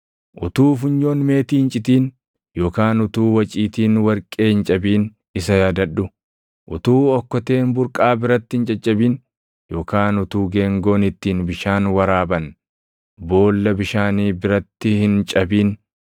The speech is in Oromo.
Utuu funyoon meetii hin citin, yookaan utuu waciitiin warqee hin cabin isa yaadadhu; utuu okkoteen burqaa biratti hin caccabin, yookaan utuu geengoon ittiin bishaan warraaban // boolla bishaanii biratti hin cabin,